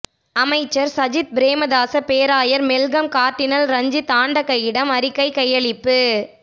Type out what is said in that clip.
அமைச்சர் சஜித் பிரேமதாச பேராயர் Malcolm cardinal Ranjith ஆண்டகையிடம் அறிக்கை கையளிப்பு